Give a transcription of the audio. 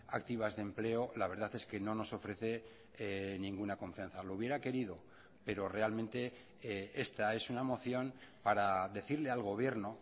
activas de empleo la verdad es que no nos ofrece ninguna confianza lo hubiera querido pero realmente esta es una moción para decirle al gobierno